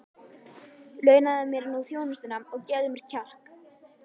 Launaðu mér nú þjónustuna og gefðu mér kjark!